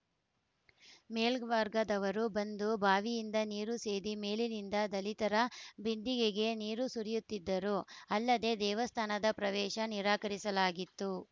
ಮೇಲ್ವರ್ಗದವರು ಬಂದು ಬಾವಿಯಿಂದ ನೀರು ಸೇದಿ ಮೇಲಿನಿಂದ ದಲಿತರ ಬಿಂದಿಗೆಗೆ ನೀರು ಸುರಿಯುತ್ತಿದ್ದರು ಅಲ್ಲದೆ ದೇವಸ್ಥಾನದ ಪ್ರವೇಶ ನಿರಾಕರಿಸಲಾಗಿತ್ತು